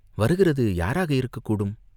வருகிறது யாராயிருக்கக்கூடும்?